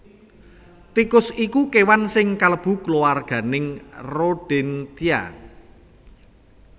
Tikus iku kéwan sing kalebu kulawarganing Rodentia